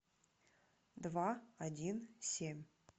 два один семь